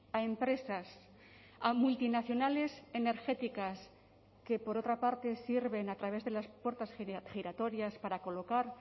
a empresas a multinacionales energéticas que por otra parte sirven a través de las puertas giratorias para colocar